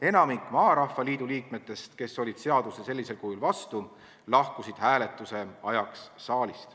Enamik Maarahva Liidu liikmetest, kes olid sellisel kujul seadusele vastu, lahkusid hääletuse ajaks saalist.